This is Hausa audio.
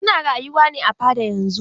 Su na rayuwa ne a fada yanzun.